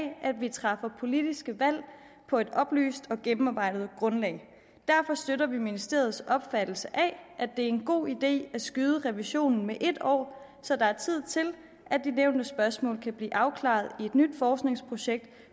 at vi træffer politiske valg på et oplyst og gennemarbejdet grundlag derfor støtter vi ministeriets opfattelse af at det er en god idé at skyde revisionen med et år så der er tid til at de nævnte spørgsmål kan blive afklaret i et nyt forskningsprojekt